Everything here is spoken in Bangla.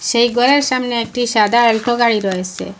এই গরের সামনে একটি সাদা এ্যালটো গাড়ি রয়েসে ।